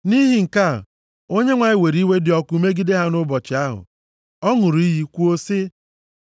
Nʼihi nke a Onyenwe anyị were iwe dị ọkụ megide ha nʼụbọchị ahụ. Ọ ṅụrụ iyi kwuo sị,